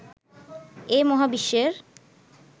এ মহাবিশ্বের